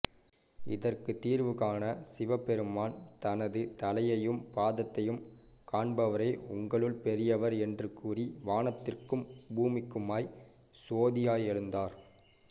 இதற்கு தீர்வுகாண சிவபெருமான் தனது தலையையும் பாதத்தையும் காண்பவரே உங்களுள் பெரியவர் என்று கூறி வானத்திற்கும் பூமிக்குமாய் சோதியாய் எழுந்தார்